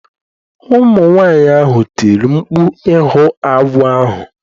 Ụmụ nwanyị ahụ tiri mkpu ịhụ agwọ ahụ